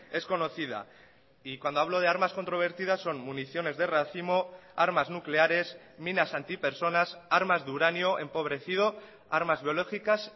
es conocida y cuando hablo de armas controvertidas son municiones de racimo armas nucleares minas antipersonas armas de uranio empobrecido armas biológicas